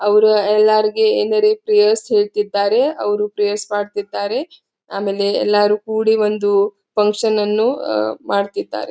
ಅವರು ಯಾರಿಗೆ ಪ್ರೇಯರ್ ಹೇಳತ್ತಿದಾರೆ ಅವರು ಪ್ರೇಯರ್ ಮಾಡುತ್ತಿದ್ದಾರೆ. ಆಮೇಲೆ ಎಲ್ಲಾರು ಕುಡಿ ಒಂದು ಫಕ್ಷನ್ ಅನ್ನು ಮಾಡತ್ತಿದಾರೆ.